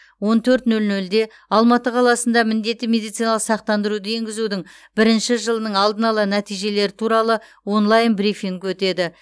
он төрт нөл нөлде алматы қаласында міндетті медициналық сақтандыруды енгізудің бірінші жылының алдын ала нәтижелері туралы онлайн брифинг өтеді